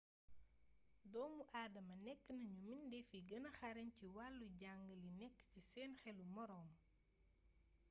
doomu aadama nekk nañu mbindeef yi gëna xarañ ci wàllu jàng li nekk ci seen xelu moroom